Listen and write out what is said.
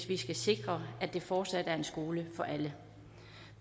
vi sikrer at den fortsat er en skole for alle